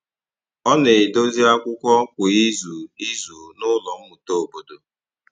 Ọ na-edòzì akwụkwọ̀ kwa izù izù n’ụlọ mmụta obodo.